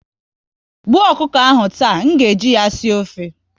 Gbuo ọkụkọ ahụ taa! M ga eji ya sie ofe